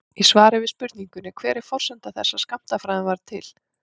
Í svari við spurningunni Hver er forsenda þess að skammtafræðin varð til?